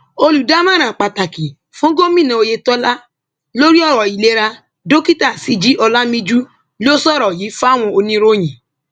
olùdámọràn pàtàkì fún gómìnà oyetola lórí ọrọ ìlera dókítà síji olàmìjú ló sọrọ yìí fáwọn oníròyìn